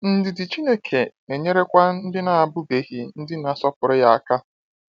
Ndidi Chineke na-enyerekwa ndị abụbeghị ndị na-asọpụrụ ya aka.